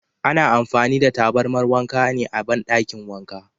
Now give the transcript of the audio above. Ana amfani da tabarmar wanka ne a bandakin wanka.